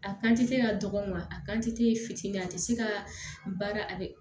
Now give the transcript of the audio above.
A kante ka dɔgɔ wa a kantite fitinin a tɛ se ka baara a dɛ